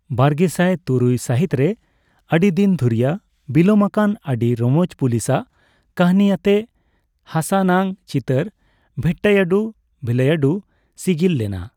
ᱵᱟᱨᱜᱮᱥᱟᱭ ᱛᱩᱨᱩᱭ ᱥᱟᱦᱤᱛ ᱨᱮ ᱟᱰᱤᱫᱤᱱ ᱫᱷᱩᱨᱤᱭᱟᱹ ᱵᱤᱞᱚᱢ ᱟᱠᱟᱱ ᱟᱹᱰᱤ ᱨᱚᱢᱚᱡᱽ ᱯᱩᱞᱤᱥ ᱟᱜ ᱠᱟᱦᱱᱤ ᱟᱛᱮ ᱦᱟᱥᱟᱱᱟᱜ ᱪᱤᱛᱟᱹᱨ ᱵᱷᱮᱴᱴᱟᱭᱟᱰᱩ ᱵᱷᱤᱞᱟᱭᱰᱩ' ᱥᱤᱜᱤᱞ ᱞᱮᱱᱟ ᱾